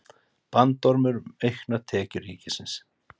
Bandormur um auknar tekjur ríkisins